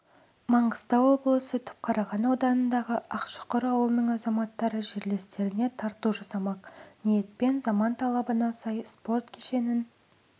маңғыстау облысы түпқараған ауданындағы ақшұқыр ауылының азаматтары жерлестеріне тарту жасамақ ниетпен заман талабына сай спорт кешенін